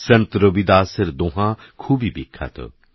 সন্তরবিদাসেরদোঁহাখুবইবিখ্যাত